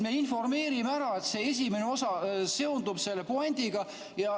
Me informeerime, et esimene osa seondub puändiga.